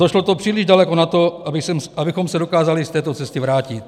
Došlo to příliš daleko na to, abychom se dokázali z této cesty vrátit.